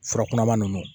Furakunanman ninnu